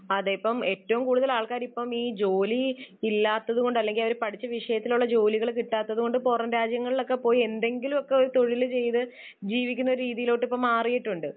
അതേ ഇപ്പോൾ ഏറ്റവും കൂടുതൽ ആൾക്കാർ ഇപ്പോൾ ഈ ജോലി ഇല്ലാത്തതുകൊണ്ട് അല്ലെങ്കിൽ അവർ പഠിച്ച വിഷയത്തിൽ ഉള്ള ജോലി കിട്ടാത്തതുകൊണ്ട് പുറംരാജ്യങ്ങളിൽ ഒക്കെ പോയി എന്തെങ്കിലുമൊക്കെ ഒരു തൊഴിൽ ചെയ്ത് ജീവിക്കുന്ന ഒരു രീതിയിലോട്ട് ഇപ്പോ മാറിയിട്ടുണ്ട്.